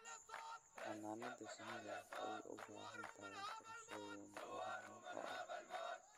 Xannaanada shinnidu waxay u baahan tahay qorshooyin ilaalin oo adag.